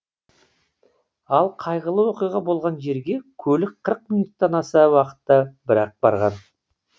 ал қайғылы оқиға болған жерге көлік қырық минуттан аса уақытта бір ақ барған